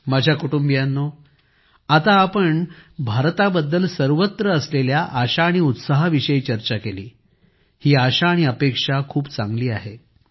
माझ्या कुटुंबियांनो आता आपण भारताबद्दल सर्वत्र असलेल्या आशा आणि उत्साहा विषयी चर्चा केली ही आशा आणि अपेक्षा खूप चांगली आहे